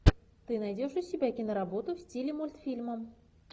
ты найдешь у себя киноработу в стиле мультфильма